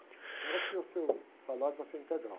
De modo que o seu salário vai ser integral.